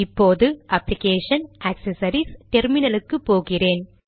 இப்போது application GD accessories GD terminal க்கு போகிறேன்